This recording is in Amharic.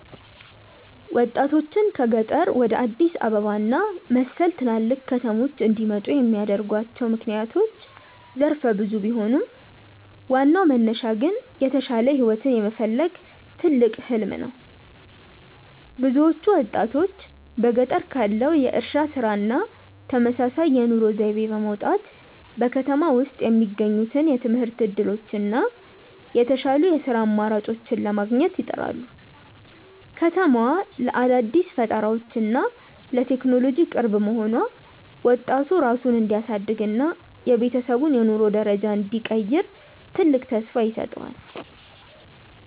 ወጣቶችን ከገጠር ወደ አዲስ አበባ እና መሰል ትላልቅ ከተሞች እንዲመጡ የሚያደርጓቸው ምክንያቶች ዘርፈ ብዙ ቢሆኑም፣ ዋናው መነሻ ግን የተሻለ ህይወትን የመፈለግ ትልቅ "ህሊም" ነው። ብዙዎቹ ወጣቶች በገጠር ካለው የእርሻ ስራ እና ተመሳሳይ የኑሮ ዘይቤ በመውጣት፣ በከተማ ውስጥ የሚገኙትን የትምህርት እድሎች እና የተሻሉ የስራ አማራጮችን ለማግኘት ይጥራሉ። ከተማዋ ለአዳዲስ ፈጠራዎች እና ለቴክኖሎጂ ቅርብ መሆኗ፣ ወጣቱ ራሱን እንዲያሳድግ እና የቤተሰቡን የኑሮ ደረጃ እንዲቀይር ትልቅ ተስፋ ይሰጠዋል።